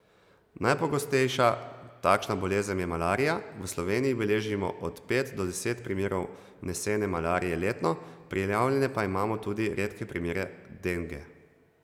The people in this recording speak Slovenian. Najpogostejša takšna bolezen je malarija, v Sloveniji beležimo od pet do deset primerov vnesene malarije letno, prijavljene pa imamo tudi redke primere denge.